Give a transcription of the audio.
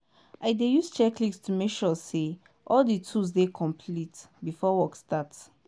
i dey use checklist to make sure say all di tools dey complete before work start.